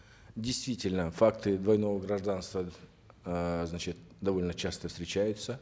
действительно факты двойного гражданства э значит довольно часто встречаются